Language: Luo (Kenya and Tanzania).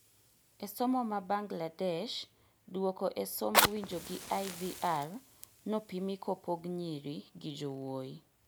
E somo ma Bangladesh, duoko e somb winjo gi IVR nopimi kopog nyiri gi jowuoi